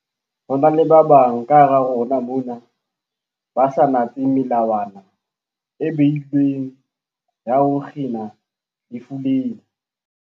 Ho na le ba bang kahara rona mona ba sa natseng melawana e beilweng ya ho kgina lefu lena.